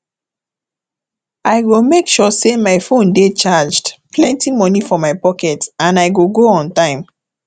i go make sure say my phone dey charged plenty money for my pocket and i go go on time